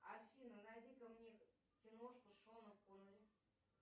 афина найди ка мне киношку с шоном коннери